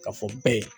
Ka fɔ be